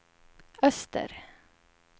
öster